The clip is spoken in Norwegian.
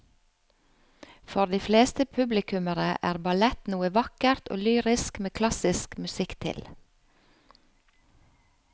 For de fleste publikummere er ballett noe vakkert og lyrisk med klassisk musikk til.